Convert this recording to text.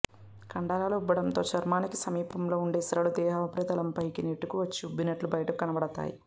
కండరాలు ఉబ్బడంతో చర్మానికి సమీపంలో ఉండే సిరలు దేహ ఉపరితలంపైకి నెట్టుకు వచ్చి ఉబ్బినట్లు బయటకు కనబడతాయి